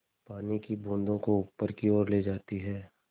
पानी की बूँदों को ऊपर की ओर ले जाती है